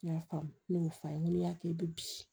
N y'a faamu ne y'o f'a ye n ko n'i y'a kɛ i bɛ bii